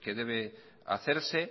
que debe hacerse